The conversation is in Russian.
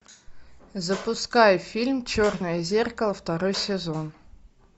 запускай фильм черное зеркало второй сезон